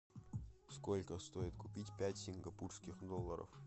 сколько стоит купить пять сингапурских долларов